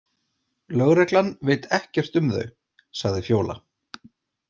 Lögreglan veit ekkert um þau, sagði Fjóla.